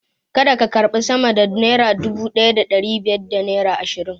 Kada ka karbi sama da naira dubu ɗaya da ɗari biyar da naira ashirin!